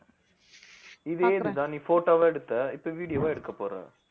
இதே இதுதான் நீ photo வா எடுத்த இப்ப video வா எடுக்கப் போற